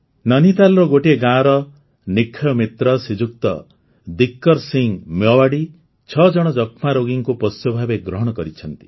ନୈନିତାଲ୍ର ଗୋଟିଏ ଗାଁର ନିକ୍ଷୟ ମିତ୍ର ଶ୍ରୀଯୁକ୍ତ ଦୀକର୍ ସିଂ ମେୱାଡ଼ି ଛଅ ଜଣ ଯକ୍ଷ୍ମା ରୋଗୀଙ୍କୁ ପୋଷ୍ୟ ଭାବେ ଗ୍ରହଣ କରିଛନ୍ତି